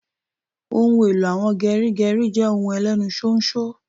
Ohun èlò àwọn geri geri je ohun Elenu ṣóńṣó